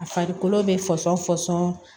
A farikolo bɛ fɔsɔn